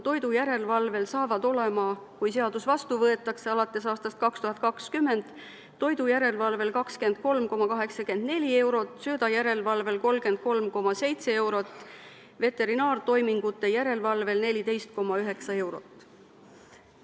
Kui seadus vastu võetakse, siis alates 2020. aastast on tunnitasu määrad toidujärelevalvel 23,84 eurot, söödajärelevalvel 33,7 eurot, veterinaartoimingute järelevalvel 14,9 eurot.